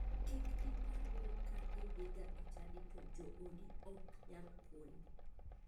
Kik ipar ni ka idhiga e chadi to joodi ok nyal konyi.